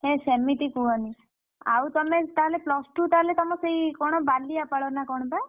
ହେ ସେମିତି କୁହନି ଆଉ ତମେ ତାହେଲେ plus two ତାହେଲେ ତମ ସେଇ କଣ ବାଲିଆପାଳ ନା କଣ ବା?